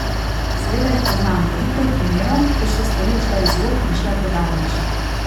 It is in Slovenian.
Seveda jih poznam, veliko je primerov, kjer so stvari ušle iz rok in šle predaleč.